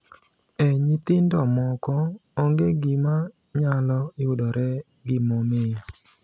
E nyithindo moko, onge gima nyalo yudore gimomiyo.